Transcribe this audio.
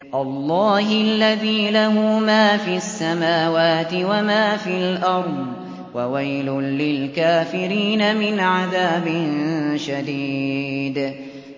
اللَّهِ الَّذِي لَهُ مَا فِي السَّمَاوَاتِ وَمَا فِي الْأَرْضِ ۗ وَوَيْلٌ لِّلْكَافِرِينَ مِنْ عَذَابٍ شَدِيدٍ